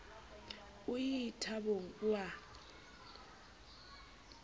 o ie thabong o a